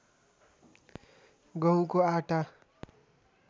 गहुँको आटा